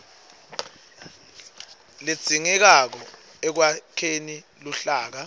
ledzingekako ekwakheni luhlaka